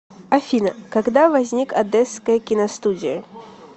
афина когда возник одесская киностудия